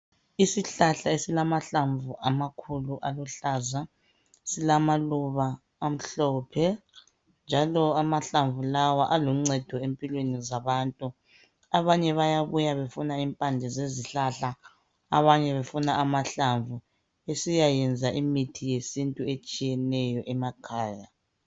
Isihlahla esilamahlamvu amakhulu aluhlaza . Silamaluba amhlophe njalo amahlamvu lawa aluncedo empilweni zabantu .Abanye bayabuya befuna impande zezihlahla abanye befuna amahlamvu besiyayenza imithi yesintu etshiyeneyo emakhaya .